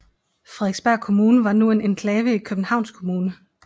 Frederiksberg Kommune var nu en enklave i Københavns Kommune